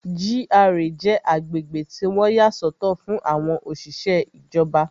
GRA jẹ́ agbègbè tí wọ́n yà sọ́tọ̀ fún àwọn òṣìṣẹ́ ìjọba